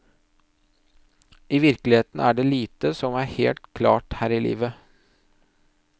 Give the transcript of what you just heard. I virkeligheten er det lite som er helt klart her i livet.